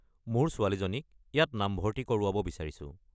মোৰ ছোৱালীজনীক ইয়াত নামভৰ্তি কৰোৱাব বিচাৰিছো।